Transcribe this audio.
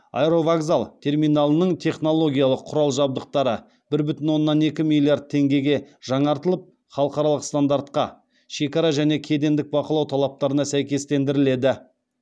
аэровокзал терминалының технологиялық құрал жабдықтары бір бүтін оннан екі миллиард теңгеге жаңартылып халықаралық стандартқа шекара және кедендік бақылау талаптарына сәйкестендіріледі